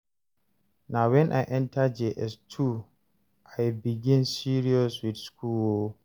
na wen I enta Jss2 I begin serious with school o